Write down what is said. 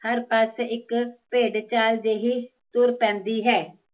ਹਰ ਪਰਸ ਇੱਕ ਭੇਡ ਚਾਲ ਜਹੀ ਤੁਰ ਪੈਂਦੀ ਹੈ